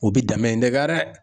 U bi dɛmɛ in de kɛ rɛ.